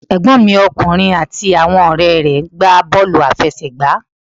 Ẹ̀gbọ́n mi ọkùnrin àti àwọn ọ̀rẹ́ rẹ̀ gbá bọ́wlù àfẹsẹ̀gbá